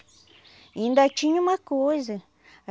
E ainda tinha uma coisa.